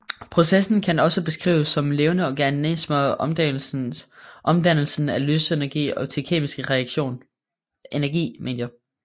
Processen kan også beskrives som levende organismers omdannelse af lysenergi til kemisk energi